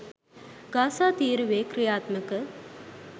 Gaza තීරුවේ ක්‍රියාත්මක